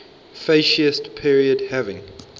fascist period having